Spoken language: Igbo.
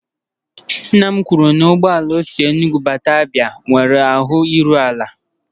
Nna m kwuru na ụgbọ ala o si Enugwu bata Abia nwere ahụ iru ala.